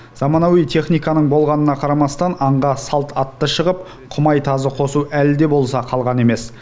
заманауи техниканың болғанына қарамастан аңға салт атты шығып құмай тазы қосу әлі де болса қалған емес